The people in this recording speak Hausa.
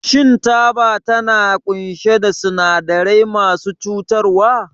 Shin taba tana ƙunshe da sinadarai masu cutarwa?